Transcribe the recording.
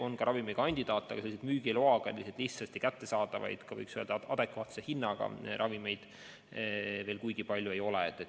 On ka ravimikandidaate, aga selliseid müügiloaga lihtsasti kättesaadavaid ja adekvaatse hinnaga ravimeid veel kuigi palju ei ole.